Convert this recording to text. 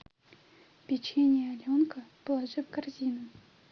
печенье аленка положи в корзину